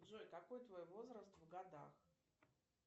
джой какой твой возраст в годах